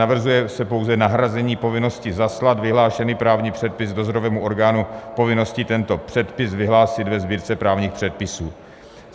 Navrhuje se pouze nahrazení povinnosti zaslat vyhlášený právní předpis dozorovému orgánu povinností tento předpis vyhlásit ve Sbírce právních předpisů.